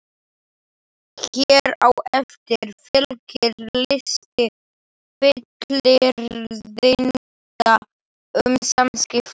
Hér á eftir fylgir listi fullyrðinga um samskipti.